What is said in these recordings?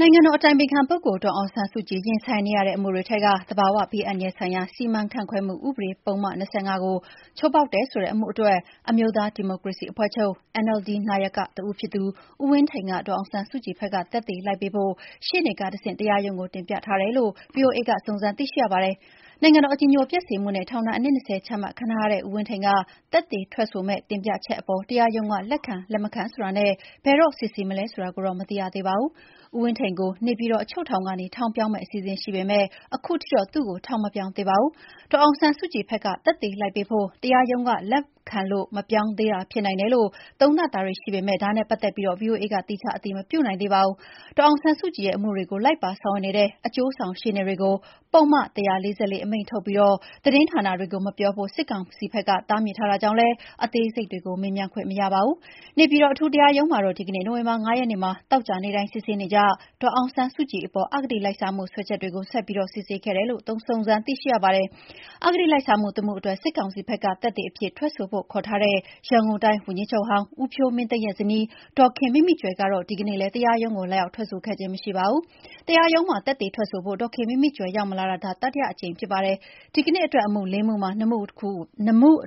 နိုင်ငံတော်အတိုင်ပင်ခံပုဂ္ဂိုလ် ဒေါ်အောင်ဆန်းစုကြည် ရင်ဆိုင်နေရတဲ့အမှုတွေထဲက သဘာဝဘေးအန္တရာယ်ဆိုင်ရာ စီမံခန့်ခွဲမှုဥပဒေ ပုဒ်မ ၂၅ ကို ချိုးဖောက်တယ် ဆိုတဲ့အမှုအတွက် အမျိုးသားဒီမိုကရေစီအဖွဲ့ချုပ် (NLD) နာယကတဦးဖြစ်သူ ဦးဝင်းထိန်က ဒေါ်အောင်ဆန်းစုကြည်ဘက်က သက်သေလိုက်ပေးဖို့ ရှေ့နေကတဆင့် တရားရုံးကိုတင်ပြထားတယ်လို့ ဗွီအိုအေက စုံစမ်းသိရှိရပါတယ်။ နိုင်ငံတော် အကြည်ညိုပျက်စေမှုနဲ့ ထောင်ဒဏ် အနှစ် ၂၀ ချမှတ်ခံထားရတဲ့ ဦးဝင်းထိန်က သက်သေထွက်ဆိုမယ့် တင်ပြချက်အပေါ် တရားရုံးက လက်ခံ လက်မခံဆိုတာနဲ့ ဘယ်တော့စစ်ဆေးမလဲ ဆိုတာကိုတော့ မသိရသေးပါဘူး။ ဦးဝင်းထိန်ကို နေပြည်တော်အချုပ်ထောင်ကနေ ထောင်ပြောင်းမယ့် အစီအစဉ်ရှိပေမဲ့ ခုချိန်ထိတော့ သူ့ကို ထောင်မပြောင်းသေးပါဘူး။ဒေါ်အောင်ဆန်းစုကြည်ဘက်က သက်သေလိုက်ပေးဖို့ တရားရုံးကလက်ခံလို့ မပြောင်းသေးတာဖြစ်နိုင်တယ်လို့ သုံးသပ်မှုတွေရှိပေမယ့် ဒါနဲ့ပတ်သက်ပြီး ဗွီအိုအေက သီးခြားအတည်မပြုနိုင်သေးပါဘူး။ ဒေါ်အောင်ဆန်းစုကြည်ရဲ့အမှုတွေကို လိုက်ပါဆောင်ရွက်နေတဲ့ အကျိုးဆောင်ရှေ့နေတွေကို ပုဒ်မ ၁၄၄ အမိန့်ထုတ်ပြီး သတင်းဌာနတွေကိုမပြောဖို့စစ်ကောင်စီဘက်က တားမြစ်ထားတာကြောင့်လည်း အသေးစိတ်တွေကို မေးမြန်းခွင့်မရပါဘူး။ နေပြည်တော် အထူးတရားရုံးမှာတော့ ဒီကနေ့ နိုဝင်ဘာ ၅ ရက်နေ့မှာ သောကြာနေ့တိုင်း စစ်ဆေးနေကျ ဒေါ်အောင်ဆန်းစုကြည်ပေါ် အဂတိလိုက်စားမှုစွဲချက်တွကို ဆက်ပြီးစစ်ဆေးခဲ့တယ်လို့ စုံစမ်းသိရှိရပါတယ်။ အဂတိလိုက်စားမှုတမှုအတွက် စစ်ကောင်စီဘက်က သက်သေအဖြစ် ထွက်ဆိုဖို့ခေါ်ထားတဲ့ ရန်ကုန်တိုင်းဝန်ကြီးချုပ်ဟောင်း ဦးဖြိုးမင်းသိန်းရဲ့ဇနီး ဒေါ်ခင်မိမိကြွယ်ကတော့ ဒီနေ့လည်း တရားရုံးကို လာရောက်ထွက်ဆိုခဲ့ခြင်း မရှိပါဘူး။ တရားရုံးမှာ သက်သေထွက်ဆိုဖို့ ဒေါ်ခင်မိမိကြွယ်ရောက်မလာတာ ဒါဟာ တတိယအကြိမ်ဖြစ်ပါတယ်။ ဒီနေ့အတွက် အမှု ၄ မှုမှာ ၂ မှုအ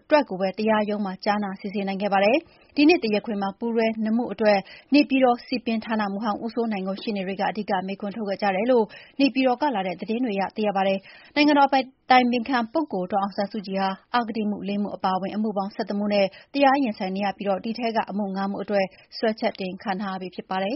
တွက်ကိုပဲ တရားရုံးမှာ ကြားနာစစ်ဆေးနိုင်ခဲ့ပါတယ်။ ဒီနေ့တရားခွင်မှာ ပူးတွဲ ၂ မှု အတွက် နေပြည်တော် စည်ပင်ဌာနမှူးဟောင်း ဦးစိုးနိုင်ကို ရှေ့နေတွေ အဓိက မေးခွန်းထုတ်ခဲ့ကြတယ်လို့ နေပြည်တော်ကလာတဲ့သတင်းတွေအရ သိရပါတယ်။ နိုင်ငံတော် အတိုင်ပင်ခံပုဂ္ဂိုလ်ဒေါ်အောင်ဆန်းစုကြည်ဟာ အဂတိအမှု ၄ မှု အပါအဝင်အမှုပေါင်း ၁၁ မှုနဲ့ တရားရင်ဆိုင်နေရပြီး ဒီထဲက အမှု ၅ မှုအတွက် စွဲချက်တင်ခံထားရပြီးဖြစ်ပါတယ်